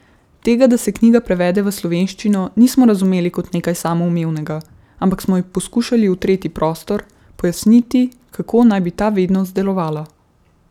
Tega, da se knjiga prevede v slovenščino, nismo razumeli kot nekaj samoumevnega, ampak smo ji poskušali utreti prostor, pojasniti, kako naj bi ta vednost delovala.